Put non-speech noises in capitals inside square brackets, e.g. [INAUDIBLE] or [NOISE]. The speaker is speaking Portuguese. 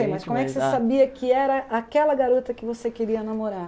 [UNINTELLIGIBLE] mas como é que você sabia que era aquela garota que você queria namorar?